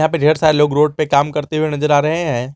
या पे ढेर सारे लोग रोड पे काम करते हुए नजर आ रहे हैं।